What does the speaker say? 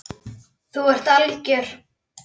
Þú ert algjör!